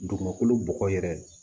Dugumakolo bɔgɔ yɛrɛ